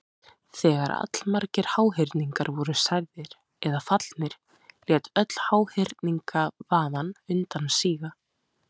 Þegar allmargir háhyrningar voru særðir eða fallnir lét öll háhyrningavaðan undan síga.